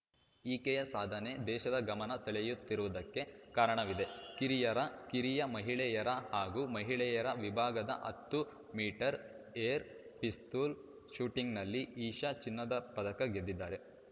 ಈಕೆಯ ಸಾಧನೆ ದೇಶದ ಗಮನ ಸೆಳೆಯುತ್ತಿರುವುದಕ್ಕೆ ಕಾರಣವಿದೆ ಕಿರಿಯರ ಕಿರಿಯ ಮಹಿಳೆಯರ ಹಾಗೂ ಮಹಿಳೆಯರ ವಿಭಾಗದ ಹತ್ತು ಮೀಟರ್ ಏರ್‌ ಪಿಸ್ತೂಲ್‌ ಶೂಟಿಂಗ್‌ನಲ್ಲಿ ಇಶಾ ಚಿನ್ನದ ಪದಕ ಗೆದ್ದಿದ್ದಾರೆ